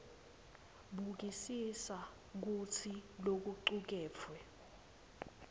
bukisisa kutsi lokucuketfwe